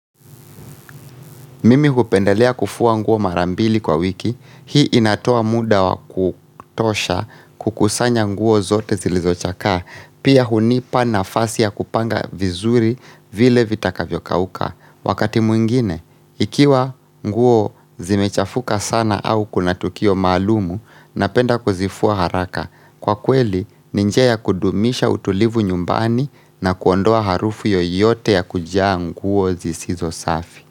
Mimi hupendelea kufua nguo mara mbili kwa wiki, hii inatoa muda wa kutosha kukusanya nguo zote zilizochakaa, pia hunipa nafasi ya kupanga vizuri vile vitakavyokauka. Wakati mwingine, ikiwa nguo zimechafuka sana au kuna tukio maalumu, napenda kuzifua haraka. Kwa kweli, ni njia ya kudumisha utulivu nyumbani na kuondoa harufu yoyote ya kujaa nguo zisizo safi.